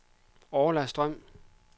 Orla Strøm